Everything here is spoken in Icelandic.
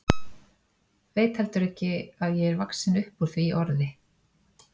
Veit heldur ekki að ég er vaxin upp úr því orði.